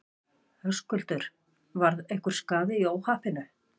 Höskuldur: Varð einhver skaði í óhappinu?